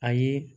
Ayi